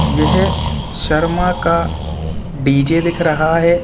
यह शर्मा का डी.जे. दिख रहा है।